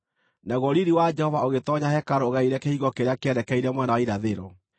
Naguo riiri wa Jehova ũgĩtoonya hekarũ ũgereire kĩhingo kĩrĩa kĩerekeire mwena wa irathĩro.